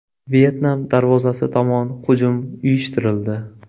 Vyetnam darvozasi tomon hujum uyushtirildi.